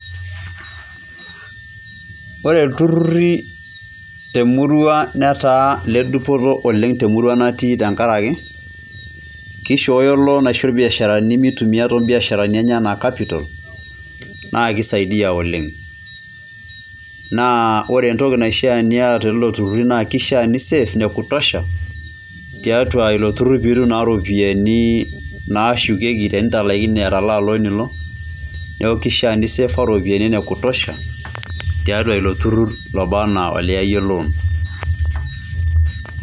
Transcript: Ore iturruri te murua netaa ile dupoto oleng te murua natii tenkaraki kishooyo loan aisho ilbiasharani mitumiyia tobiasharani enye enaa capital naa keisaidia oleng. Naa ore entoki naishia niata telelo turruri naa kishia ni save ne kutosha tiatua ilo turrur pee itum naa irropiyiani naashukieki tenilaikino atalaa loan ino niaku keishia ni saver irropiyiani ene kutosha tiatua ilo turrur oba enaa oliyayie loan.